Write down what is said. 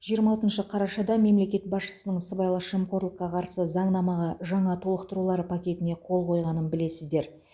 жиырма алтыншы қарашада мемлекет басшысының сыбайлас жемқорлыққа қарсы заңнамаға жаңа толықтырулар пакетіне қол қойғанын білесіздер